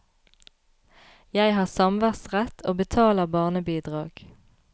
Jeg har samværsrett og betaler barnebidrag.